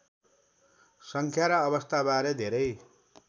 सङ्ख्या र अवस्थाबारे धेरै